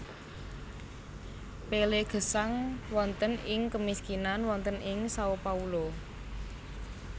Pelé gesang wonten ing kemiskinan wonten ing Sao Paulo